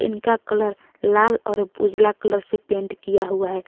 इनका कलर लाल और उजाला कलर से पेंट किया हुआ है।